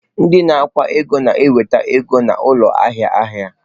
Ndị na-akwụ ụgwọ na-enweta ụgwọ n'ụlọ ahịa ahịa.